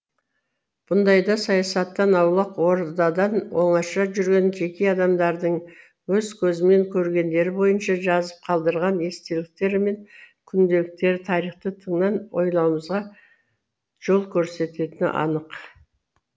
бұндайда саясаттан аулақ ордадан оңаша жүрген жеке адамдардың өз көзімен көргендері бойынша жазып қалдырған естеліктері мен күнделіктері тарихты тыңнан ойлауымызға жол көрсететіні анық